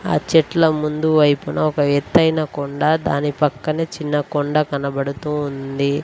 ఆ చెట్ల ముందు వైపున ఒక ఎత్తైన కొండ దాని పక్కన చిన్న కొండ కనబడుతూ ఉంది.